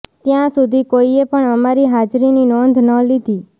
ત્યાં સુધી કોઈએ પણ અમારી હાજરીની નોંધ ન લીધી